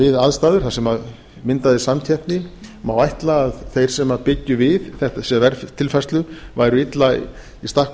við aðstæður þar sem myndaðist samkeppni má ætla að þeir sem byggju við þessa verðtilfærslu væru illa í stakk